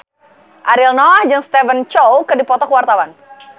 Ariel Noah jeung Stephen Chow keur dipoto ku wartawan